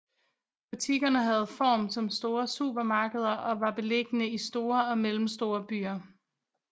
Butikkerne havde form som store supermarkeder og var beliggende i store og mellemstore byer